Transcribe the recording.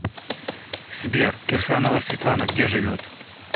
сбер кирсанова светланагде живет